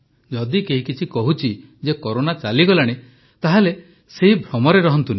ଯଦି କେହି କହୁଛି ଯେ କରୋନା ଚାଲିଗଲାଣି ତାହେଲେ ସେହି ଭ୍ରମରେ ରହନ୍ତୁନି